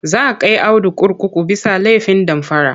Za kai Audu kurkuku bisa laifin damfara..